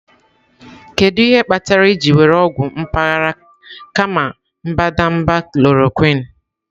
Kedu ihe kpatara ị jiri were ọgwụ mpaghara kama mbadamba chloroquine?